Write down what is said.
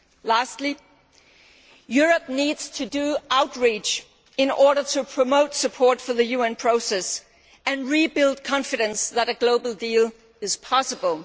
Lastly, Europe needs to undertake outreach in order to promote support for the UN process and rebuild confidence that a global deal is possible.